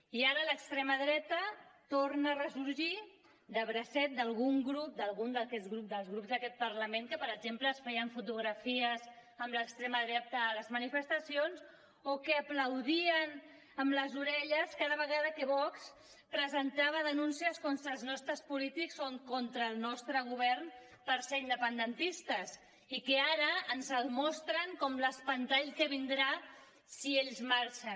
i ara l’extrema dreta torna a ressorgir de bracet d’alguns grups d’aquest parlament que per exemple es feien fotografies amb l’extrema dreta a les manifestacions o que aplaudien amb les orelles cada vegada que vox presentava denúncies contra els nostres polítics o contra el nostre govern per ser independentistes i que ara ens el mostren com l’espantall que vindrà si ells marxen